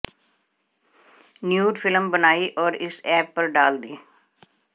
nude film बनाई और इस ऐप पर डाल दी